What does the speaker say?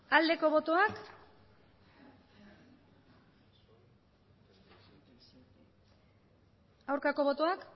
aldeko botoak aurkako botoak